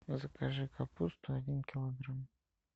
закажи капусту один килограмм